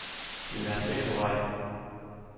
Men der er flere på vej.